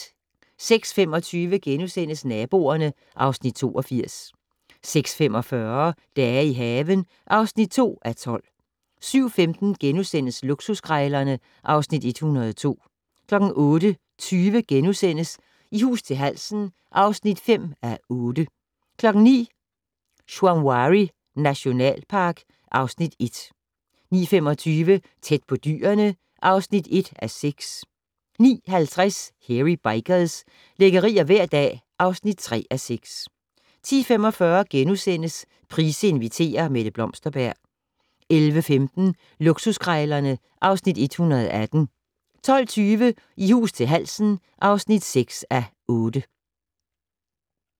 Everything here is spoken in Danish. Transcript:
06:25: Naboerne (Afs. 82)* 06:45: Dage i haven (2:12) 07:15: Luksuskrejlerne (Afs. 102)* 08:20: I hus til halsen (5:8)* 09:00: Shamwari nationalpark (Afs. 1) 09:25: Tæt på dyrene (1:6) 09:50: Hairy Bikers - lækkerier hver dag (3:6) 10:45: Price inviterer - Mette Blomsterberg * 11:15: Luksuskrejlerne (Afs. 118) 12:20: I hus til halsen (6:8)